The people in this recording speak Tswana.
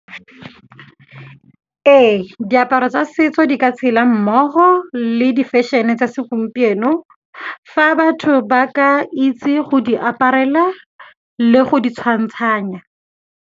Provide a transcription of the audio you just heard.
Ee, diaparo tsa setso di ka tshela mmogo le di-fashion-e tsa segompieno, fa batho ba ka itse go di aparela le go di tshwantshanya.